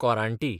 कोरांटी